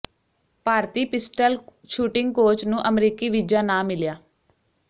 ਭਾਰਤੀ pistol shooting coach ਨੂੰ ਅਮਰੀਕੀ visa ਨਾ ਮਿਲਿਆ